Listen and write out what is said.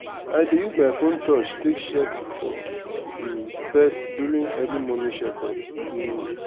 i dey use my phone touch take check for um pest during early morning check up. um